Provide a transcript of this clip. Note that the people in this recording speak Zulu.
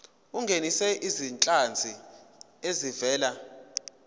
ungenise izinhlanzi ezivela